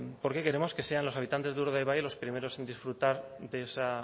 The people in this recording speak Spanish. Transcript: porque queremos que sean los habitantes de urdaibai los primeros en disfrutar de esa